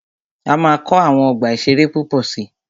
A máa kọ́ àwọn ọgbà ìṣẹ̀rẹ́ púpọ̀ si.